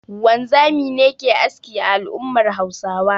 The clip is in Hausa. Wanzami ne ke aski a al'ummar Hausawa